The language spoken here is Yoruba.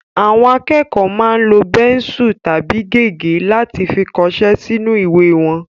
Àwọn akẹ́kọ̀ọ́ máa ń lo bẹ́nsù tàbí gègé láti fi kọṣẹ́ sínú ìwé wọn